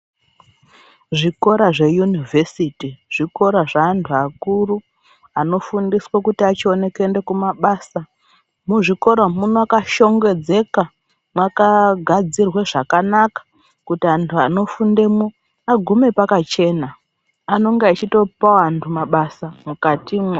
Zvikora zveyunivhesiti zvikora zveantu akuru anofundiswa kuti ichione kuende kumabasa. Muzvikora umwu mwakashongedzeka mwakagadzirwe zvakanaka kuti antu anofundemwo agume pakachena. Anenge achitopawo antu mabasa mukatimwo.